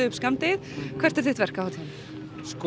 upp skammdegið hvert er þitt verk á hátíðinni sko